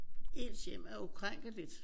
Ens hjem er ukrænkeligt